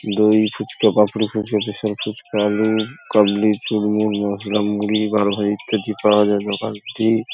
দই ফুচকা পাপড়ি ফুচকা স্পেশাল ফুচকা আলুকাবলি চূড়মুড় মসলা মুড়ি বারো ভাজা ইত্যাদি পাওয়া যায় ওখানে একটি